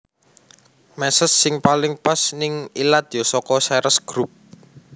Meses sing paling pas ning ilat yo soko Ceres Group